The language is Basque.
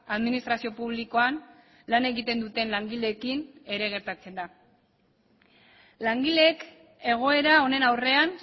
administrazio publikoan lan egiten duten langileekin ere gertatzen da langileek egoera honen aurrean